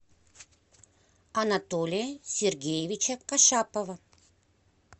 анатолия сергеевича кашапова